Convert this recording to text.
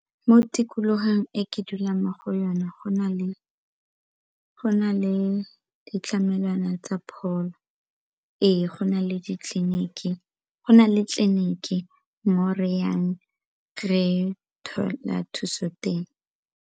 Mo tikologong e ke dulang mo go yona go na le ditlamelwana tsa pholo ee go na le tleliniki mo re ka thola thuso teng.